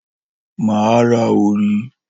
Mà á ra òrí.